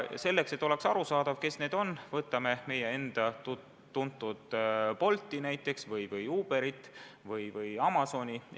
Et oleks arusaadav, kes need on, toon näiteks meie enda tuntud Bolti või Uberi või Amazoni.